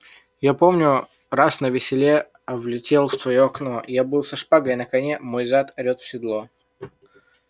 я помню раз на веселе влетел в твоё окно я был со шпагой на коне мой зад орёт в седло